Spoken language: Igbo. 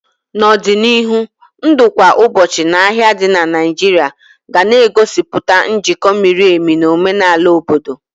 N'ọdịnihu, ndụ kwa ụbọchị na ahia di na Naijiria ga na-egosipụta njikọ miri emi na omenala obodo.